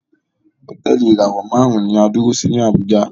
Hotẹẹli ìràwọ márùn ní a dúró sí ni Abuja